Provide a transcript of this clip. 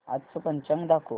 आजचं पंचांग दाखव